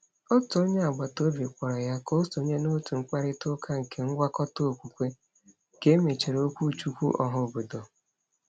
Otu onye agbataobi kpọrọ ya ka o sonye n’òtù mkparịtaụka nke ngwakọta okwukwe ka e mechara okwuchukwu ọhaobodo.